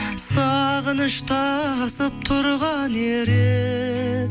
сағыныш тасып тұрған ерек